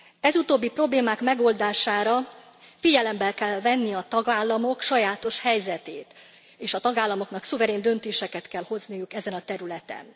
Ez utóbbi problémák megoldásához figyelembe kell venni a tagállamok sajátos helyzetét, és a tagállamoknak szuverén döntéseket kell hozniuk ezen a területen.